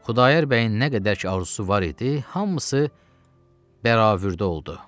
Xudayar bəyin nə qədər ki arzusu var idi, hamısı bəravürdə oldu.